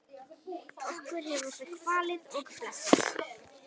Okkur hefur það kvalið og blessað.